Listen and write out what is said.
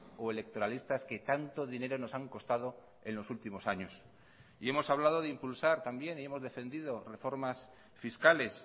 o electoralistas que tanto dinero nos han costado en los últimos años y hemos hablado de impulsar también y hemos defendido reformas fiscales